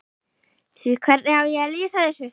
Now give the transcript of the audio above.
Því hvernig á ég að lýsa þessu?